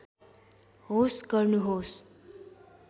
होस् गर्नुहोस्